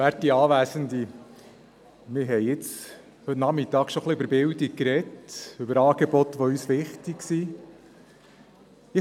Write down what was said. Wir haben heute Nachmittag schon ein wenig über Bildung gesprochen, über Angebote, die uns wichtig sind.